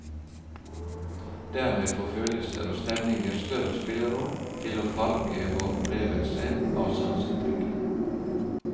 Dermed får følelser og stemninger større spillerom til å farge vår opplevelse av sanseinntrykkene.